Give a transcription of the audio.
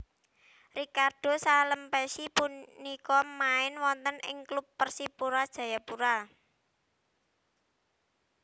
Ricardo Salampessy punika main wonten ing klub Persipura Jayapura